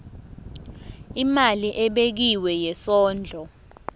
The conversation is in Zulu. imali ebekiwe yesondlo